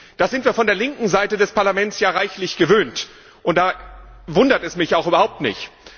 Das sind wir von der linken Seite des Parlaments ja reichlich gewöhnt, und da wundert es mich auch überhaupt nicht.